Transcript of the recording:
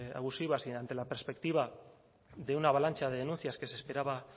abusivas y ante la perspectiva de una avalancha de denuncias que se esperaba